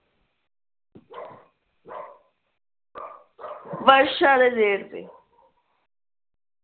ਵਰਸ਼ਾ ਦੇ ਜੇਠ ਤੇ ਦੇਤੇ